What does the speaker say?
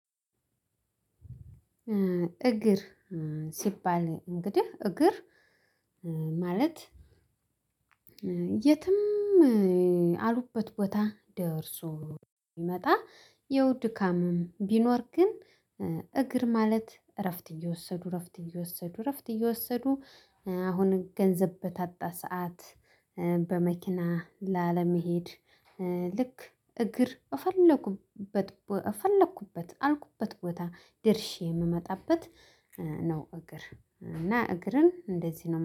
እግር ሲባል እንግዲህ እግር ማለት የትም ያሉበት ቦታ ደርሶ እሚመጣ ያው ድካምም ቢኖር ግን እግር ማለት እረፍት እየወሰዱ እረፍት እየወሰዱ እረፍት እየወሰዱ አሁን ገንዘብ በታጣ ሰዓት በመኪና ላለመሄድ ልክ እግር እፈለኩበት አልኩበት ቦታ ድርሼ የምመጣበት ነው። እግር እና እግርን እንደዚህ ነው